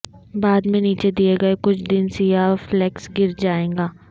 بعد میں نیچے دیئے گئے کچھ دن سیاہ فلیکس گر جائے گا